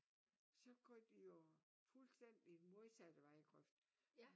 Så går de jo fuldstændig modsat vejgrøft